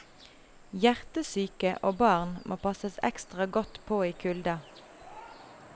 Hjertesyke og barn må passes ekstra godt på i kulda.